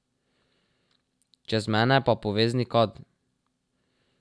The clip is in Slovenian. Čez mene pa povezni kad.